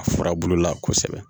A furabulu la kosɛbɛ